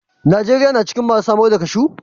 Najeriya na cikin masu samar da cashew.